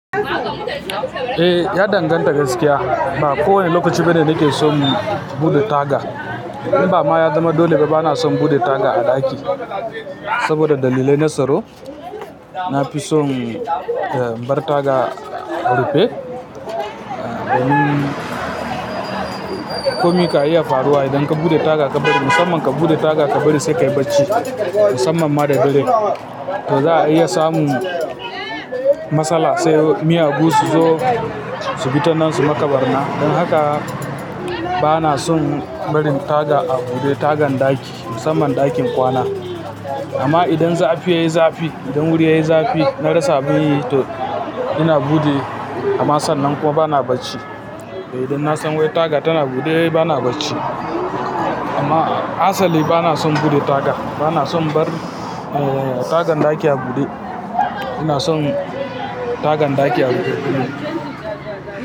Eh, ya danganta gaskiya. Ba kowane lokaci bane nake son bude taga. In bama ya zama dole ba bana son buɗe taga a ɗaki saboda dalilai na tsaro, na fi son na bar taga a rufe, domin komi kan iya faruwa idan ka bude taga ka bari, musamman ka bude taga ka bari sai ka yi bacci. Musamman ma da dare, to za a iya samun matsala, sai miyagu su zo su bi ta nan su maka ɓarna. Don haka bana son barin taga a bude. Tagan ɗaki musamman ɗakin kwana. Amma idan zafi yayi zafi, idan wuri yayi zafi, na rasa abun yi to ina buɗe amma sannan kuma bana bacci. Toh idan na san wai taga tana bude bana bacci. Amma asali bana son bude taga. Bana son in bar tagan ɗaki a bude. Ina son tagan ɗaki a rufe.